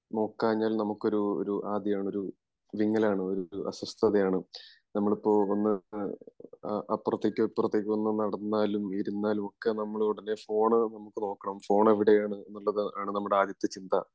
നോക്കാഞ്ഞാൽ നമുക്കൊരു ഒരു ആദി ആണ് ഒരു വിങ്ങലാണ് ഒരു അസ്വസ്ഥത ആണ് നമ്മിലിപ്പോ ഒന്ന് അപ്പുറത്തേക്കോ ഇപ്പൊറത്തേക്കോ ഒന്ന് നടന്നാലും ഇരുന്നാലും ഒക്കെ നമ്മള് ഉടനെ ഫോണ് നമുക്ക് നോക്കണം ഫോൺ എവിടെയാണ് എന്നുള്ളത് ആണ് നമ്മുടെ ആദ്യത്തെ ചിന്ത